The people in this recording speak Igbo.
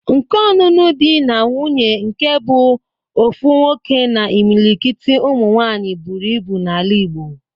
Nke ọnụnụ di na nwuńye nke bụ ofu nwoke na imilikit ụmụ nwaanyị buru ibu n'ala igbo